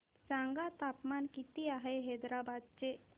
सांगा तापमान किती आहे हैदराबाद चे